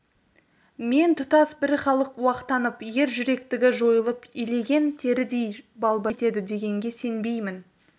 мен тұтас бір халық уақтанып ер жүректігі жойылып илеген терідей болбырап кетеді дегенге сенбеймін